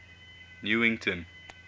newington